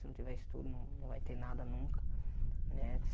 Se não tiver estudo, não vai ter nada nunca, né?